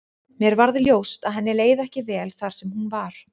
Mér varð ljóst að henni leið ekki vel þar sem hún var.